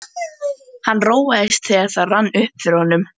Hann róaðist, þegar það rann upp fyrir honum.